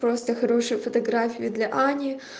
просто хорошие фотографии для ани